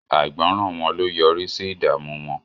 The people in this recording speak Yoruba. Àìgbọ̀ràn wọn ló yọrí sí ìdààmú wọn